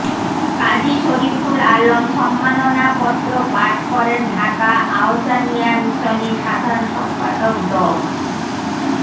কাজী শরিফুল আলম সম্মাননাপত্র পাঠ করেন ঢাকা আহ্ছানিয়া মিশনের সাধারণ সম্পাদক ড